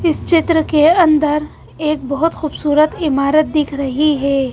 इस चित्र के अंदर एक बहुत खूबसूरत इमारत दिख रही है.